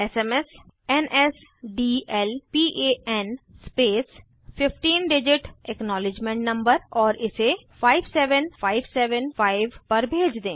SMS NSDLPAN ltspacegt15 digit acknowledgement number और इसे 57575 पर भेज दें